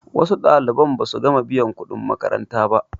wasu ɗaliban ba su gama biyan kuɗin makaranta ba